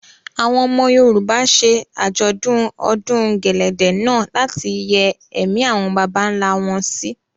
Àwọn ọmọ Yorùbá ṣe Àjọ̀dún ọdún gẹ̀lẹ̀dẹ̀ náà láti yẹ́ ẹ̀mí àwọn bàbà ńlá wọn sí.